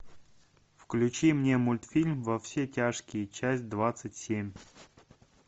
включи мне мультфильм во все тяжкие часть двадцать семь